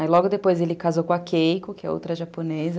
Aí logo depois ele casou com a Keiko, que é outra japonesa.